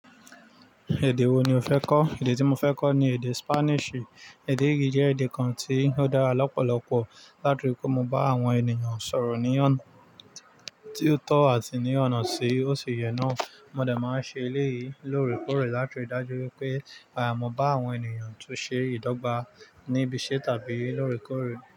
Èdè wo ni o fẹ́ kọ́? Èdè tí mo fẹ́ kọ́ ni èdè Spanish. Èdè yìí jẹ́ èdè kan tí ó dára lọ́pọ̀lọpọ̀ láti rí pé mo bá àwọn ènìyàn sọ̀rọ̀ ní ọ̀nà tí ó tọ́ àti ní ọ̀nà sí òṣìyẹ́nà. Mo dẹ̀ máa ń ṣe eléyìí lórèkórè látiri dájú wípé, mo bá àwọn ènìyàn tún ṣe ìdọ́gba níbi iṣẹ́ tàbí lórèkórè.